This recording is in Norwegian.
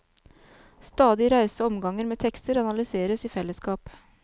Stadige rause omganger med tekster analyseres i fellesskap.